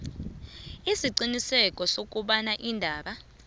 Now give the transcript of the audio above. isiqiniseko sokobana iindaba